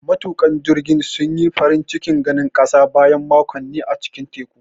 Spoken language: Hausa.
Matuƙan jirgin sun yi farin cikin ganin ƙasa bayan makonni a cikin teku.